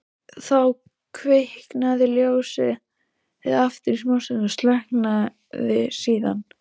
Þá kviknaði ljósið aftur í smástund og slökknaði síðan.